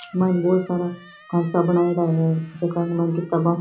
माइन बोला सारा खांचा बनेड़ा है झक माँ किताबा --